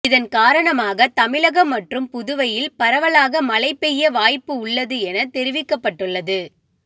இதன் காரணமாக தமிழகம் மற்றும் புதுவையில் பரவலாக மழை பெய்ய வாய்ப்பு உள்ளது என தெரிவிக்கப்பட்டு உள்ளது